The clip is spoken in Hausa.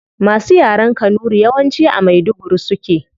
Masu yaren kanuri yawanci a maiduguri suke